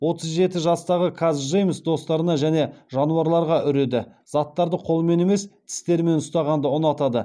отыз жеті жастағы каз джеймс достарына және жануарларға үреді заттарды қолымен емес тістерімен ұстағанды ұнатады